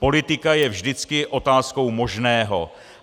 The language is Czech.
Politika je vždycky otázkou možného.